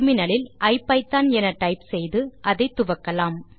இப்போது டெர்மினல் இல் ஐபிதான் என டைப் செய்து அதை துவக்கலாம்